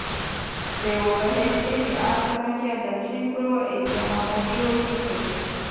તેઓ કહે છે કે આ સમસ્યા દક્ષિણપૂર્વ એશિયામાં મોટી હોઈ શકે છે